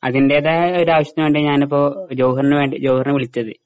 അതിൻ്റെതായ ഒരാവശ്യത്തിന് വേണ്ടിയാ ഞാനിപ്പോ ജൊവഹർന് വേണ്ടി ജൊവഹർനെ വിളിച്ചത്.